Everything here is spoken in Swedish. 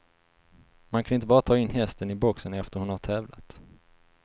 Man kan inte bara ta in hästen i boxen efter hon har tävlat.